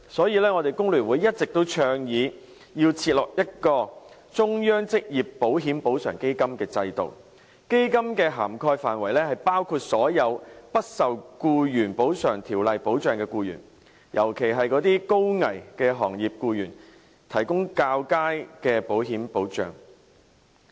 因此，工聯會一直倡議設立"中央職業保險補償基金"制度，基金的涵蓋範圍包括所有不受《僱員補償條例》保障的僱員，尤其為一些高危行業的僱員提供較佳的保險保障。